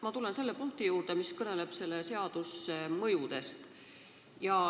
Ma tulen selle punkti juurde, mis kõneleb seaduse mõjudest.